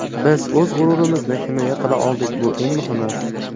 Biz o‘z g‘ururimizni himoya qila oldik bu eng muhimi.